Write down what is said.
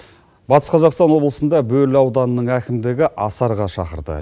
батыс қазақстан облысында бөрлі ауданының әкімдігі асарға шақырды